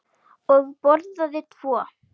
Ég borðaði tvo.